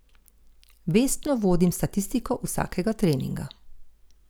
Vestno vodim statistiko vsakega treninga.